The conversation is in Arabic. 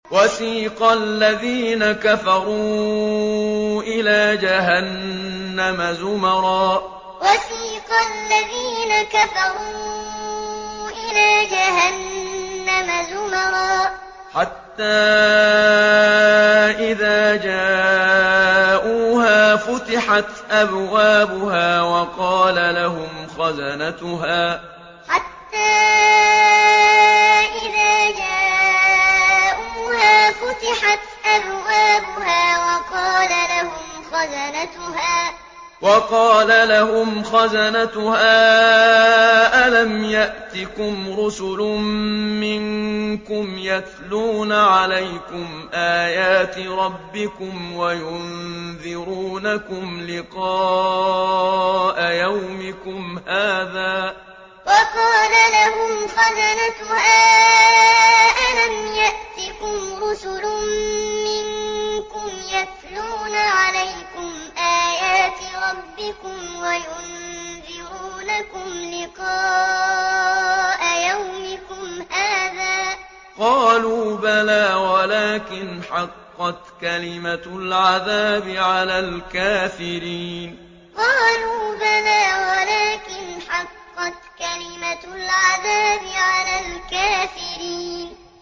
وَسِيقَ الَّذِينَ كَفَرُوا إِلَىٰ جَهَنَّمَ زُمَرًا ۖ حَتَّىٰ إِذَا جَاءُوهَا فُتِحَتْ أَبْوَابُهَا وَقَالَ لَهُمْ خَزَنَتُهَا أَلَمْ يَأْتِكُمْ رُسُلٌ مِّنكُمْ يَتْلُونَ عَلَيْكُمْ آيَاتِ رَبِّكُمْ وَيُنذِرُونَكُمْ لِقَاءَ يَوْمِكُمْ هَٰذَا ۚ قَالُوا بَلَىٰ وَلَٰكِنْ حَقَّتْ كَلِمَةُ الْعَذَابِ عَلَى الْكَافِرِينَ وَسِيقَ الَّذِينَ كَفَرُوا إِلَىٰ جَهَنَّمَ زُمَرًا ۖ حَتَّىٰ إِذَا جَاءُوهَا فُتِحَتْ أَبْوَابُهَا وَقَالَ لَهُمْ خَزَنَتُهَا أَلَمْ يَأْتِكُمْ رُسُلٌ مِّنكُمْ يَتْلُونَ عَلَيْكُمْ آيَاتِ رَبِّكُمْ وَيُنذِرُونَكُمْ لِقَاءَ يَوْمِكُمْ هَٰذَا ۚ قَالُوا بَلَىٰ وَلَٰكِنْ حَقَّتْ كَلِمَةُ الْعَذَابِ عَلَى الْكَافِرِينَ